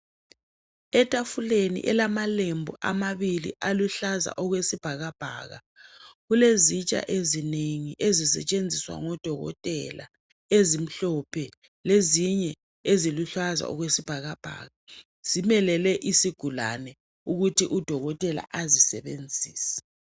etafuleni elamalembu amabili aluhlaza okwesibhakabhaka kulezitsha ezinengi ezisetshenziswa ngo dokotela ezimhlophe lezinye eziluhlaza okwesibhakabhaka zimelele isigulane ukuthi u dokotela azisebenzise